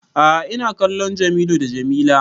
A'a ina kallon Jamilu d Jamila